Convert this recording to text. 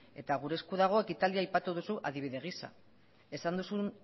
eta gure esku dago ekitaldia aipatu duzu adibide giza esan duzun